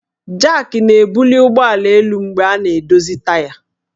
Jak na-ebuli ụgbọala elu mgbe a na-edozi taya